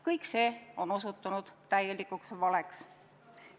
Kõik see on osutunud täielikuks valeks.